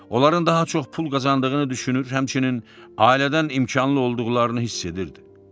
Onların daha çox pul qazandığını düşünür, həmçinin ailədən imkanlı olduqlarını hiss edirdi.